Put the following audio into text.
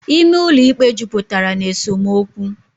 Ime ụlọ ikpe jupụtara na esemokwu.